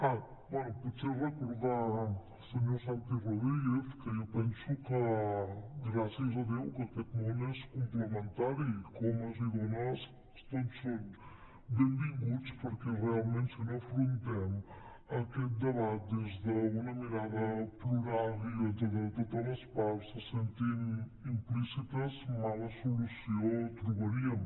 ah bé potser recordar li al senyor santi rodríguez que jo penso que gràcies a déu que aquest món és complementari que homes i dones tots som benvinguts perquè realment si no afrontem aquest debat des d’una mirada plural i on totes les parts se sentin implicades mala solució trobaríem